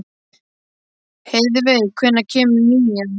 Heiðveig, hvenær kemur nían?